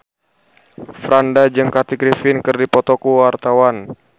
Franda jeung Kathy Griffin keur dipoto ku wartawan